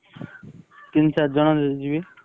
ତିନି ଚାରି ଜଣଯିବି।